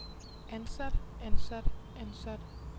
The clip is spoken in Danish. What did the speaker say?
ansat ansat ansat